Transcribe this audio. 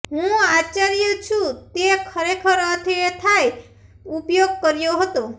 હું આશ્ચર્ય શું તે ખરેખર અર્થ એ થાય ઉપયોગ કર્યો હતો